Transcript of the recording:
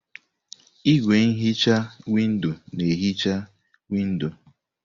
Igwé nhicha windo na-ehicha windò.